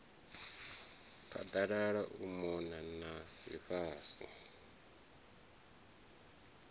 phaḓalala u mona na ḽifhasi